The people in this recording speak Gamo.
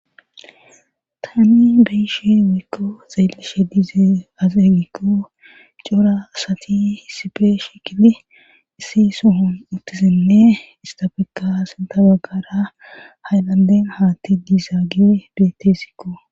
taani beyishe woyko xeellishe diizeay azee gikko cora asati hisife shikili issi sohon uttizinne istafeka asintabagara hayllanden haatti diizaagie beetessikko